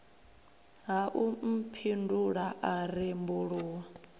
ha u mphindula a rembuluwa